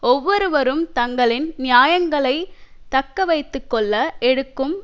ஒவ்வொருவரும் தங்களின் நியாயங்களை தக்கவைத்து கொள்ள எடுக்கும்